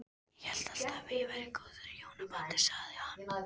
Ég hélt alltaf að ég væri í góðu hjónabandi sagði